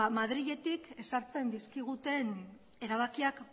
madriletik ezartzen dizkiguten erabakiak